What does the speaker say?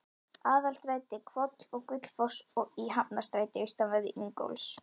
Aðalstræti, Hvoll og Gullfoss í Hafnarstræti austanverðu, Ingólfs